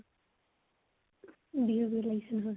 বিহু বিহু লাগিছে নহয় ?